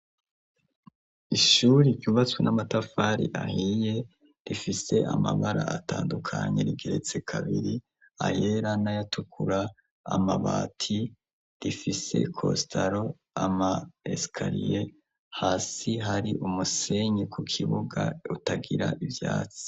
ishuri yubatswe n'amatafari ahiye rifise amabara atandukanye rigeretse kabiri ayera n'ayatukura amabati rifise costaro ama esikariye hasi hari umusenyi ku kibuga utagira ivyatsi